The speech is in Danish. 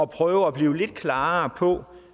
prøve at blive lidt klarere på